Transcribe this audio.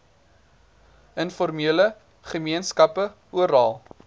informele gemeenskappe oral